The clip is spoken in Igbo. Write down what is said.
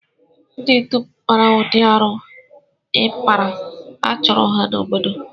Ndi dum kpara ụdị arụ a ị kpara, a chụpụrụ ha n'obodo